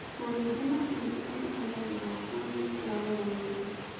Na ningĩ macini iria ihũthagĩrwo kuo nĩ cia goro mũno.